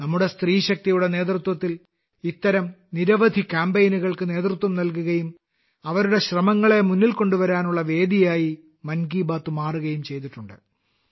നമ്മുടെ സ്ത്രീശക്തിയുടെ നേതൃത്വത്തിൽ ഇത്തരം നിരവധി കാമ്പെയ്നുകൾക്ക് നേതൃത്വം നൽകുകയും അവരുടെ ശ്രമങ്ങളെ മുന്നിൽ കൊണ്ടുവരാനുള്ള വേദിയായി മൻ കി ബാത്ത് മാറുകയും ചെയ്തിട്ടുണ്ട്